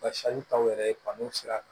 yɛrɛ kanu sira kan